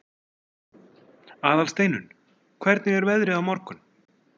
Aðalsteinunn, hvernig er veðrið á morgun?